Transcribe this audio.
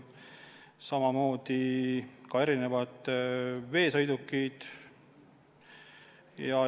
Sinna hulka kuuluvad ka erinevad veesõidukid.